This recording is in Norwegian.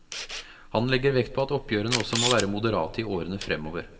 Han legger vekt på at oppgjørene også må være moderate i årene fremover.